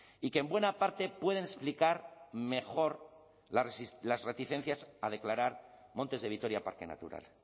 y que en buena parte pueden explicar mejor las reticencias a declarar montes de vitoria parque natural